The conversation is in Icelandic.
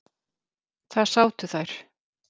Þar sátu þær.